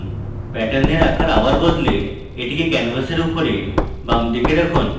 প্যাটার্নের আকার আবার বলে এটিকে canvas উপরে বামদিকে রাখুন